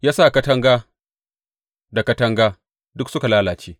Ya sa katanga da katanga duk suka lalace.